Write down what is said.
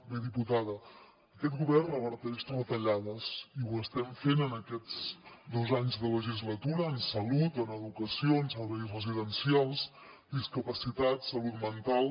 bé diputada aquest govern reverteix retallades i ho estem fent en aquests dos anys de legislatura en salut en educació en serveis residencials discapacitats salut mental